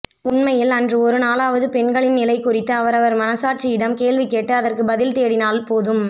உண்மையில் அன்று ஒரு நாளாவது பெண்களின் நிலை குறித்து அவரவர் மனசாட்சியிடம் கேள்வி கேட்டு அதற்குப் பதில் தேடினால் போதும்